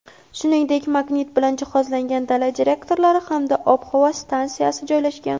shuningdek magnit bilan jihozlangan dala detektorlari hamda ob-havo stansiyasi joylashgan.